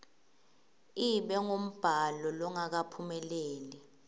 ibe ngumbhalo longakaphumeleli